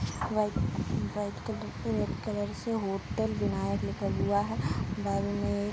White white colour पे red colour से hotel Vinayak लिखा हुआ है। बगल में --